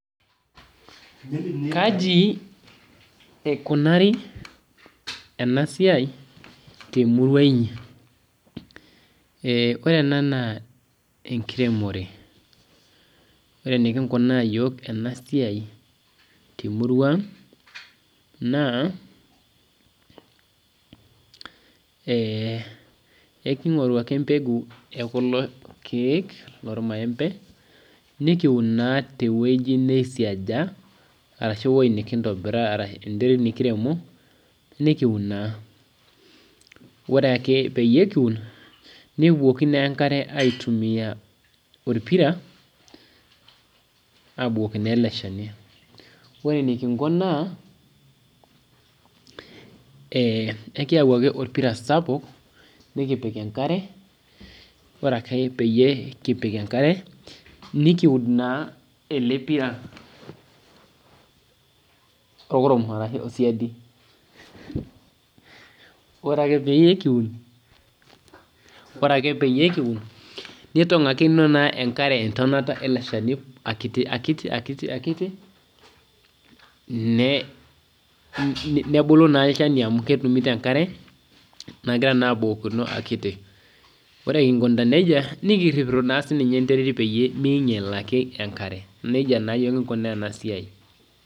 Kaji eikunari ena siai temurua enyi ore ena naa enkiremore ore enikingunaa iyiok ena siai temurua ang naa ekingoru ake embekuu ekulo keek loo irmaembe nikiun Kuna tewueji nisiasha ashu ewueji nikiremo nikuun naa ore ake pee kiun nikibukoki enkare aitumia orpira abukoki naa ele Shani ore enikinko naa ekiyau ake orpira sapuk nikipik enkare ore ake pee kipik enkare nikiud naa ele pira orkurum ashu osidai ore ake pikiud nitongakino enkare entonata ele Shani akitikiti nebulu naa olchani amu ketumito naa enkare nagira abukokino akiti ore Kingo neijia nikirip naa sininye enterit pee minyial ake enkare nejia naa kingunaa ena siai